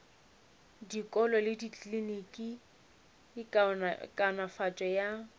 dikolo le dikliniki kaonafatšo ya